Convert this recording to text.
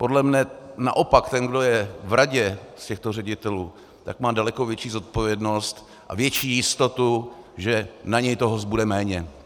Podle mě naopak ten, kdo je v radě z těchto ředitelů, tak má daleko větší zodpovědnost a větší jistotu, že na něj toho zbude méně.